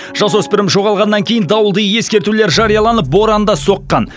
жасөспірім жоғалғаннан кейін дауылды ескертулер жарияланып боран да соққан